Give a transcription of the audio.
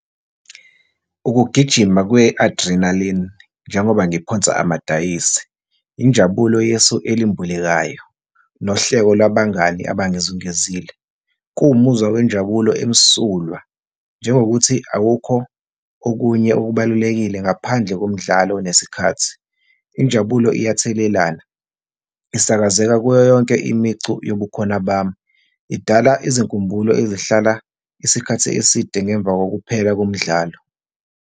Ukugijima kwe-adrenaline, njengoba ngiphonse amadivayisi, injabulo yesu elimbulekayo nohleko labangani abangizungezile. Kuwumuzwa wenjabulo emsulwa, njengokuthi awukho okunye okubalulekile ngaphandle komdlalo nesikhathi. Injabulo iyathelelana, isakazeka kuyo yonke imicu wobukhona bami. Idala izinkumbulo ezihlala isikhathi eside ngemva kokuphela komdlalo.